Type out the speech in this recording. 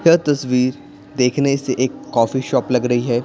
यह तस्वीर देखने से एक कॉफी शॉप लग रही है।